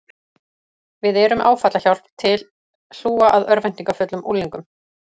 Við erum með áfallahjálp til hlúa að örvæntingarfullum unglingum